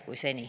Aitäh!